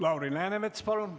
Lauri Läänemets, palun!